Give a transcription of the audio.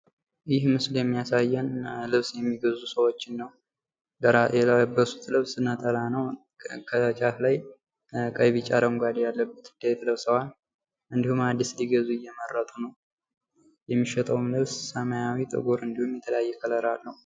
ይህ ምስል የሚያሳየን ልብስ የሚገዙ ሰዎችን ነው። ከላይ የለበሱት ልብስ ነጠላ ነው። ከጫፍ ላይ ቀይ ቢጫ አረንጉዴ ያለው ለብሰዋል። እንዲሁም አዲስ ሊገዙ እየመረጡ ነው። የሚሸጠዉም ልብስ ሰማያዊ፣ ጥቈር እንዲሁም የተለያየ ቀለም አለው።